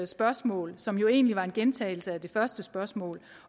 spørgsmål som jo egentlig var en gentagelse af det første spørgsmål